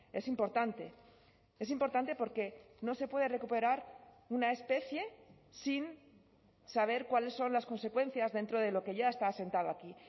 es importante es importante porque no se puede recuperar una especie sin saber cuáles son las consecuencias dentro de lo que ya está asentado aquí